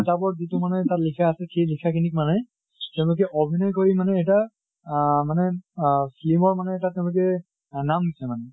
কিতাপত যিটো মানে তাত লিখা আছে, সেই লিখা খিনিক মানে তেওঁলোকে অভিনয় কৰি মানে এটা আহ মানে আহ ফিলিমৰ মানে এটা তেওঁলোকে নাম দিছে মানে।